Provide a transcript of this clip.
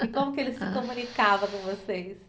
E como que ele se comunicava com vocês?